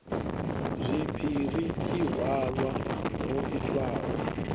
zwipiri i halwa ho itwaho